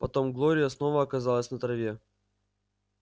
потом глория снова оказалась на траве